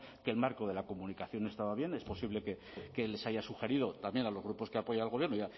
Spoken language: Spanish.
que el marco de la comunicación estaba bien es posible que les haya sugerido también a los grupos que apoyan al gobierno